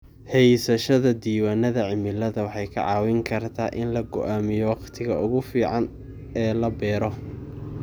Haysashada diiwaannada cimilada waxay kaa caawin kartaa in la go'aamiyo wakhtiga ugu fiican ee la beero.